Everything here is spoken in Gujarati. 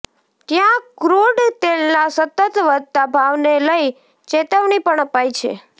ત્યાં ક્રૂડ તેલના સતત વધતા ભાવને લઇ ચેતવણી પણ અપાઇ છે